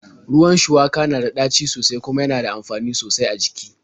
Ruwan shuwaka na da ɗaci sosai kuma yana da amfani sosai a jiki.